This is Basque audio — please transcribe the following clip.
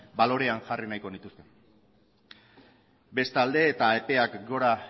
balorean jarri nahiko nituzke bestalde eta epeak gora